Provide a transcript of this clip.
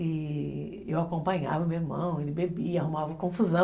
E eu acompanhava o meu irmão, ele bebia, arrumava confusão.